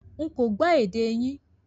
Nkọ́ gbò èdè yín